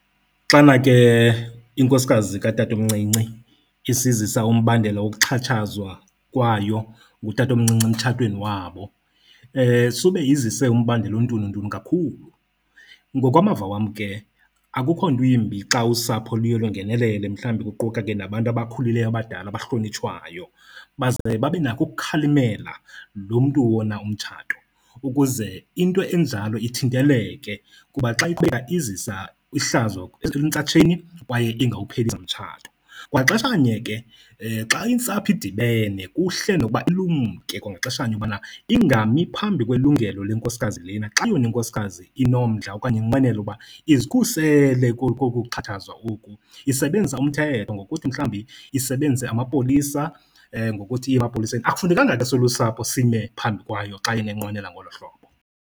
Xana ke inkosikazi katatomncinci isisizisa umbandela wokuxhatshazwa kwayo ngutatomncinci emtshatweni wabo sube izise umbandela ontununtunu kakhulu. Ngokwamava wam ke akukho nto imbi xa usapho luye lwangenelele, mhlambi kuquka ke nabantu abakhulileyo abadala abahlonitshwayo. Baze babe nako ukukhalimela lo mntu wona umtshato ukuze into enjalo ithinteleke kuba xa izisa ihlazo entsatsheni, kwaye ingawuphelisa nomtshato. Kwaxeshanye ke xa intsapho idibene kuhle nokuba ilumke kwangaxeshanye ubana ingami phambi kwelungelo lenkosikazi lena. Xa yona inkosikazi inomdla okanye inqwenela uba izikhusele koku kuxatshazwa oku isebenzisa umthetho ngokuthi mhlambi isebenzise amapolisa ngokuthi iye emapoliseni. Akufunekanga ke silusapho sime phambi kwayo xa yena enqwenela ngolo hlobo.